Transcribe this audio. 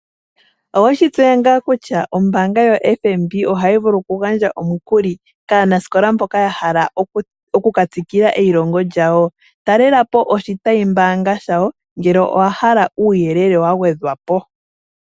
Owe shi tseya ngaa kutya ombaanga yoFNB ohayi vulu okugandja omukuli, kaanasikola mboka ya hala oku ka tsikila eilongo lyawo. Talela po oshitayi mbaanga shawo, ngele owa hala uuyelele wa gwedhwa po.